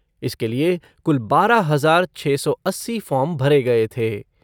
इसके लिए कुल बारह हजार छः सौ अस्सी फ़ॉर्म भरे गए थे।